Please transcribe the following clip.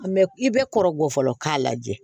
i bɛ kɔrɔbɔ fɔlɔ k'a lajɛ